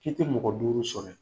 K'i tɛ mɔgɔ duuru sɔrƆ